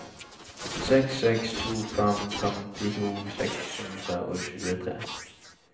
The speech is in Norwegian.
seks seks to fem femtito seks hundre og tjuetre